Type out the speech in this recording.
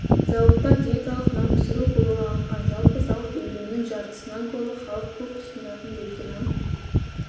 зауытта диеталық нан пісіру қолға алынған жалпы зауыт өнімінің жартысынан көбі халық көп тұтынатын бөлке нан